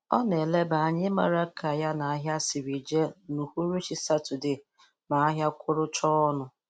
O na -eleba anya ịmara ka ya na ahia si jee n'uhuruchi satode ma ahia kụrụchaa ọnụ.